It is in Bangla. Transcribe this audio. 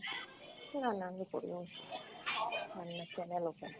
না না আমি করিনি, রান্নার channel open।